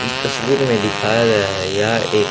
इस तस्वीर में दिखाया गया है यहां एक--